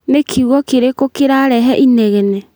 Nĩ kiugo kĩrĩkũ kĩrarehe inegene